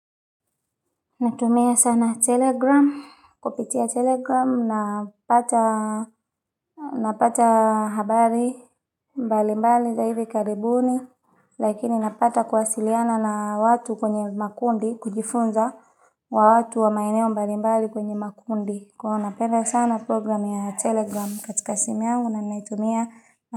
Natumia sana Telegram, kupitia telegram napata habari mbali mbali za hivi karibuni, lakini napata kwasiliana na watu kwenye makundi, kujifunza wa watu wa maeneo mbali mbali kwenye makundi. Kwa napenda sana program ya Telegram katika simu yangu na ninaitumia.